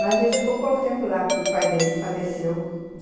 Mas a gente ficou pouco tempo lá, porque o pai dele faleceu .